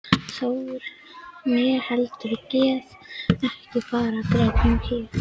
Þór, né heldur guð gróðurs eða friðar.